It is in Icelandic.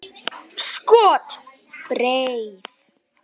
Skot: Breið.